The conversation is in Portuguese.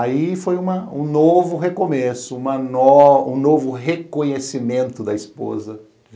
Aí foi uma um novo recomeço, uma nó um novo reconhecimento da esposa.